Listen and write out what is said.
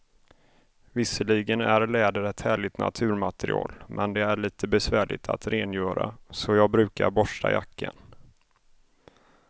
Visserligen är läder ett härligt naturmaterial, men det är lite besvärligt att rengöra, så jag brukar borsta jackan.